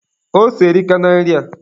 Ose erika na nri a